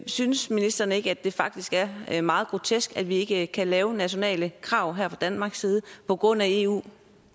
synes ministeren ikke at det faktisk er meget grotesk at vi ikke kan lave nationale krav fra danmarks side på grund af eu